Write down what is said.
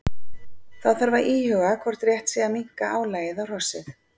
Þá þarf að íhuga hvort rétt sé að minnka álagið á hrossið.